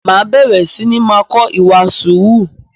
Máa bẹ̀rẹ̀ sini máa kọ ìwà sùúrù